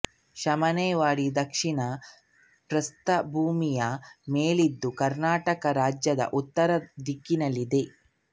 ಶಮನೇವಾಡಿ ದಕ್ಷಿಣ ಪ್ರಸ್ಥಭೂಮಿಯ ಮೇಲಿದ್ದು ಕರ್ನಾಟಕ ರಾಜ್ಯದ ಉತ್ತರ ದಿಕ್ಕಿನಲ್ಲಿದೆ